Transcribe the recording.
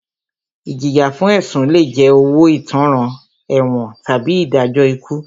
Ìjìyà fún ẹ̀sùn lé jẹ́ owó ìtanràn, ẹ̀wọ̀n tàbí ìdájọ́ ikú.